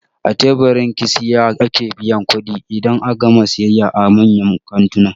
A teburin kasiyha ake biyan kuɗi idan an gama siyayya a manyan kantuna